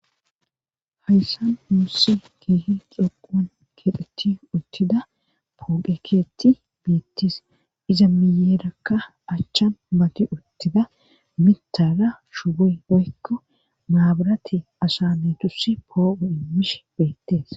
hayssan muussi kiihi xoquan kedheti uttida puqekeetti biittis iza miyeerakka achchan mati uttida mitara shuboy oykko maabarati ashane tus poou immish beettees